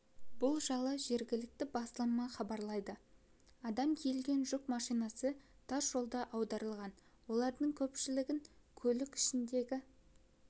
бұл жайлы жергілікті басылымы хабарлайды адам тиелген жүк машинасы тас жолда аударылған олардың көпшілігін көлік ішіндегі